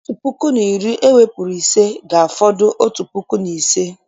Otu puku na iri ewepụrụ ise, ga-afọdụ otu puku na ise